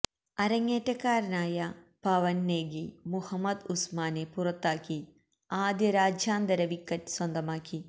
അരങ്ങേറ്റക്കാരനായ പവൻ നേഗി മുഹമ്മദ് ഉസ്മാനെ പുറത്താക്കി ആദ്യ രാജ്യാന്തര വിക്കറ്റ് സ്വന്തമാക്കി